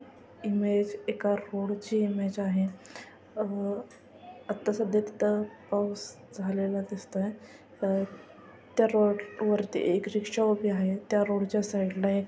Image एका road ची image आहे. अह आता पाऊस झालेला दिसतोय. अ त्या रोड वरती एक रिक्शा उभी आहे. त्या रोड च्या साइकला ला एक --